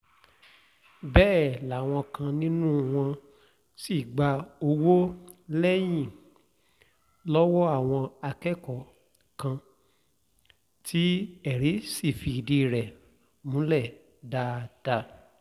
bẹ́ẹ̀ làwọn kan nínú wọn sì gba owó-ẹ̀yìn lọ́wọ́ àwọn akẹ́kọ̀ọ́ kan tí ẹ̀rí sì fìdí rẹ̀ múlẹ̀ dáadáa